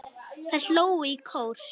Þær hlógu í kór.